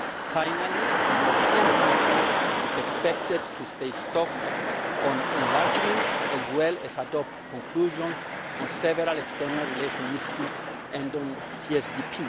Finally, the European Council is expected to take stock on enlargement as well as adopt conclusions on several external relations issues and on CSDP.